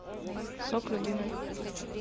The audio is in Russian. сок любимый